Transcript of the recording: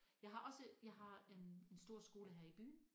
Jeg har også jeg har en en stor skole her i byen